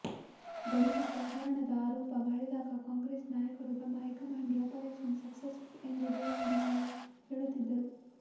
ಗಣಿ ಕಪ್ಪ ಹಗರಣದ ಆರೋಪ ಮಾಡಿದಾಗ ಕಾಂಗ್ರೆಸ್ ನಾಯಕರು ತಮ್ಮ ಹೈಕಮಾಂಡಿಗೆ ಆಪರೇಷನ್ ಸಕ್ಸಸ್ ಎಂದು ದೂರವಾಣಿ ಮಾಡಿ ಹೇಳುತ್ತಿದ್ದರು